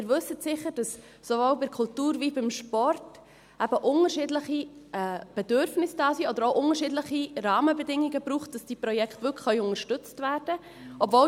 Sie wissen sicher, dass sowohl bei der Kultur als auch beim Sport eben unterschiedliche Bedürfnisse da sind, oder dass es auch unterschiedliche Rahmenbedingungen braucht, damit diese Projekte wirklich unterstützt werden können.